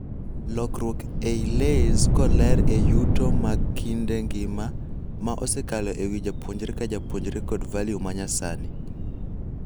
Lokruok ei LAYS koleer e yuto mag kinde ngima ma osekalo ewii japuonjre ka japuonjre kod value manyasani.